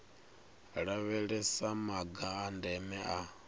lavhelesa maga a ndeme a